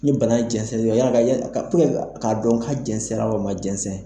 Ni bana jɛnsɛn yanni a ka yanni a ka puruke k'a dɔn ka jɛnsɛn na walima a ma jɛnsɛn,